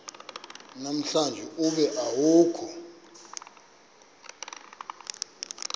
namhlanje ube awukho